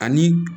Ani